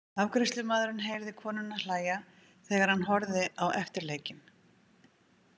Afgreiðslumaðurinn heyrði konuna hlæja þegar hann horfði á eftirleikinn.